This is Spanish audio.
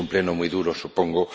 Es un Pleno muy duro, supongo.